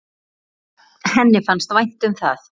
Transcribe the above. Henni fannst vænt um það.